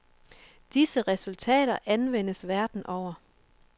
Disse resultater anvendes verden over.